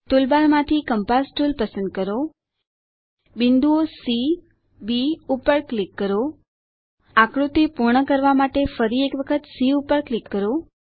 ટુલબારમાંથી compass tool પસંદ કરો બિંદુઓ સી બી પર ક્લિક કરો આકૃતિ પૂર્ણ કરવા માટે ફરી એક વખત સી પર ક્લિક કરો